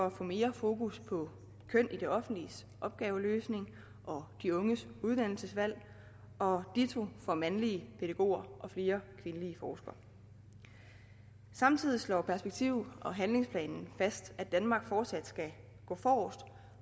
at få mere fokus på køn i det offentliges opgaveløsning og de unges uddannelsesvalg og ditto for mandlige pædagoger og flere kvindelige forskere samtidig slår perspektiv og handlingsplanen fast at danmark fortsat skal gå forrest